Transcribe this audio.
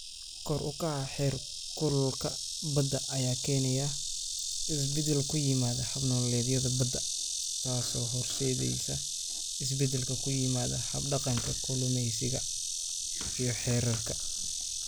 Kor u kaca heerkulka badda ayaa keenaya isbeddel ku yimaada hab-nololeedyada badda, taasoo horseedaysa isbeddel ku yimaada hab-dhaqanka kalluumeysiga iyo xeerarka.